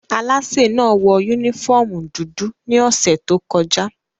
Alaśé náa wọ unifọmú dudu ni ọsẹ to kọja.